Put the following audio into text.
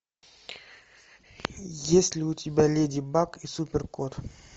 есть ли у тебя леди баг и супер кот